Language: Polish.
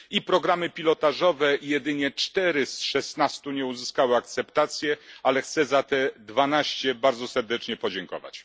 I programy pilotażowe jedynie 4 z 16 nie uzyskały akceptacji, ale chcę za te 12 bardzo serdecznie podziękować.